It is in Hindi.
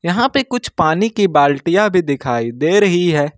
यहां पर कुछ पानी की बाल्टिया भी दिखाई दे रही है।